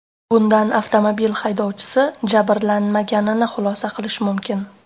Bundan avtomobil haydovchisi jabrlanmaganini xulosa qilish mumkin.